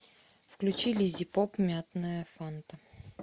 включи лиззипоп мятная фанта